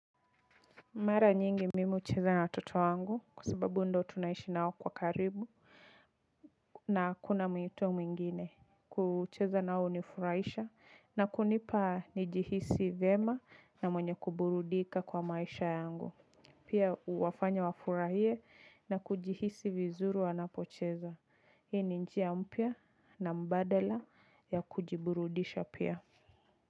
Mara nyingi mimi hucheza na watoto wangu kwa sababu ndo tunaishi nao kwa karibu na kuna miyuto mwingine. Kucheza nao hunifurahisha na kunipa nijihisi vyema na mwenye kuburudika kwa maisha yangu. Pia huwafanya wafurahie na kujihisi vizuri wanapocheza. Hii ni njia mpya na mbadala ya kujiburudisha pia.